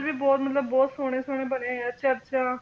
ਵੀ ਬਹੁਤ ਮਤਲਬ ਬਹੁਤ ਸੋਹਣੇ ਸੋਹਣੇ ਬਣੇ ਹੋਏ ਆ ਚਰਚਾਂ.